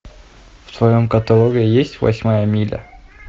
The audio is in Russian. в твоем каталоге есть восьмая миля